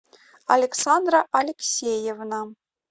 александра алексеевна